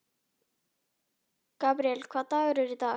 Gabríel, hvaða dagur er í dag?